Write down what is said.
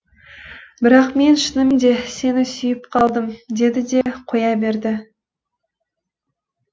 бірақ мен шыныменде сені сүйіп қалдым деді де қоя берді